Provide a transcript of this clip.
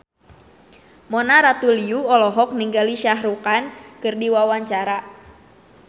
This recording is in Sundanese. Mona Ratuliu olohok ningali Shah Rukh Khan keur diwawancara